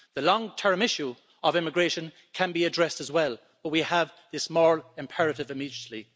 The long term issue of immigration can be addressed as well but we have this moral imperative immediately.